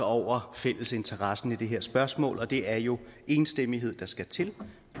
over fællesinteressen i det her spørgsmål og det er jo enstemmighed der skal til